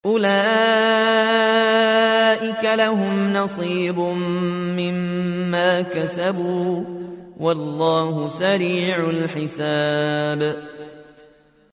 أُولَٰئِكَ لَهُمْ نَصِيبٌ مِّمَّا كَسَبُوا ۚ وَاللَّهُ سَرِيعُ الْحِسَابِ